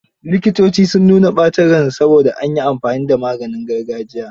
Likitocin, sun nuna ɓacin ransu saboda an yi amfani da maganin gargajiya.